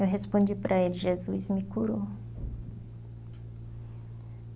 Eu respondi para ele, Jesus me curou.